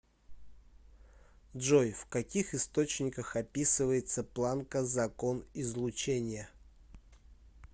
джой в каких источниках описывается планка закон излучения